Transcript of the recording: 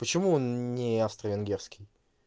почему он не австро-венгерский